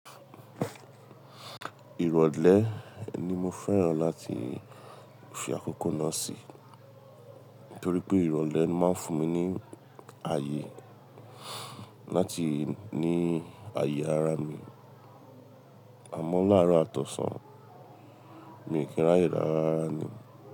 Ìrọ̀lẹ́ ni mo fẹ́ràn láti fi àkókò náà sí, torí pé ìrọ̀lẹ́ máa ń fún mi ní ààyè láti ní ààyè ara mi. Àmọ́ láàárọ̀ àtọ̀sàn mi ò kí n ráyè rára rárá ni.